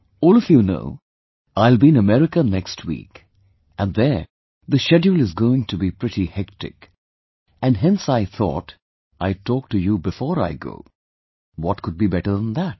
All of you know, I'll be in America next week and there the schedule is going to be pretty hectic, and hence I thought I'd talk to you before I go, what could be better than that